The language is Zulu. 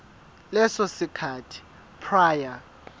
leso sikhathi prior